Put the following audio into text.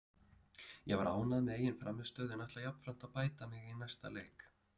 Ég var ánægð með eigin frammistöðu en ætla jafnframt að bæta mig í næsta leik.